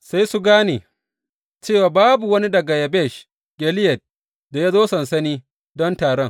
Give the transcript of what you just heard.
Sai su gane cewa babu wani daga Yabesh Gileyad da ya zo sansani don taron.